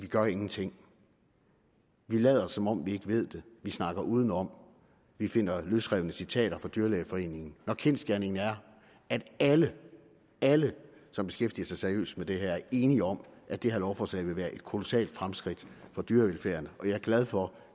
gøre ingenting vi lader som om vi ved det vi snakker udenom vi finder løsrevne citater fra dyrlægeforeningen når kendsgerningen er at alle alle som beskæftiger sig seriøst med det her er enige om at det her lovforslag vil være et kolossalt fremskridt for dyrevelfærden jeg er glad for